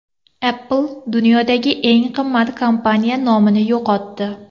Apple dunyodagi eng qimmat kompaniya nomini yo‘qotdi.